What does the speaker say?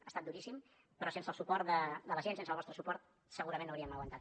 ha estat duríssim però sense el suport de la gent sense el vostre suport segurament no hauríem aguantat